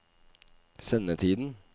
sendetiden